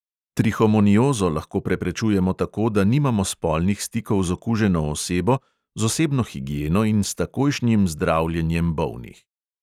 Trihomoniozo lahko preprečujemo tako, da nimamo spolnih stikov z okuženo osebo, z osebno higieno in s takojšnjim zdravljenjem bolnih.